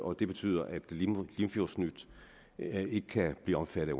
det betyder at limfjordsnyt ikke kan blive omfattet